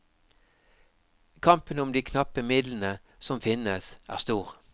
Kampen om de knappe midlene som finnes er stor.